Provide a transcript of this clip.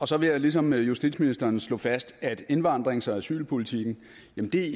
så vil jeg ligesom justitsministeren slå fast at indvandrings og asylpolitikken